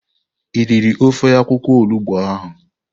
I riri ofe akwukwo olugbo ụnyahụ.